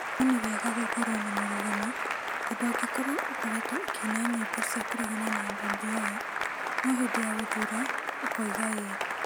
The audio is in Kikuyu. No nĩ wega gũkorwo na mũrũgamo, tondũ angĩkorwo ũkoretwo ũkĩina nyĩmbo cia kũregana na BBI no hĩndĩ ya gũthuura, ũkoiga ĨĨ;